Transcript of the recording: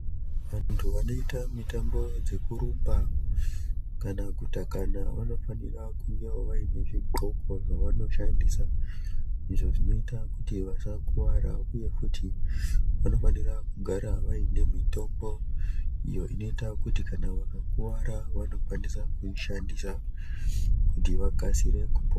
Vantu vanoita mutambo dzeku rumba kana kutakana vano fanira kuuyavo vaine zvi ndxoko zvavano shandisa izvo zvinoita kuti vasa kuvara uye futi vano fanira kugara vaine mitombo iyo inoita kuti kana vaka kuvara vano kwanisa kuyi shandisa kuti vakasire kupona.